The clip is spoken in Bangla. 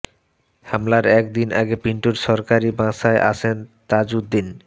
হামলার এক দিন আগে পিন্টুর সরকারি বাসায় আসেন তাজউদ্দিন